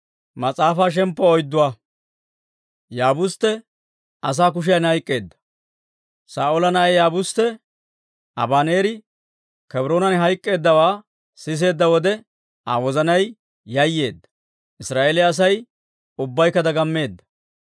Saa'oola na'ay Yaabustte Abaneeri Kebroonan hayk'k'eeddawaa siseedda wode, Aa wozanay yayeedda; Israa'eeliyaa Asay ubbaykka dagammeedda.